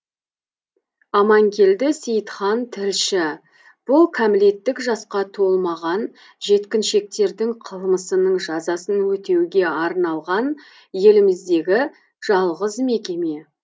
аманкелді сейтхан тілші бұл кәмелеттік жасқа толмаған жеткіншектердің қылмысының жазасын өтеуге арналған еліміздегі жалғыз мекеме